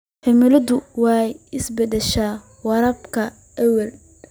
Cimiladu way isbedeshay waraabka awgeed.